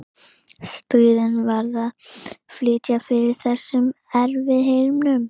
Stríðið varð til að flýta fyrir þessum eftirhermum.